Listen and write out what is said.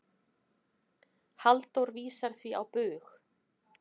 Halldór vísar því á bug.